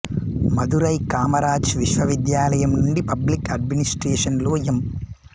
మధురై కామరాజ్ విశ్వవిద్యాలయం నుండి public administration లో ఎం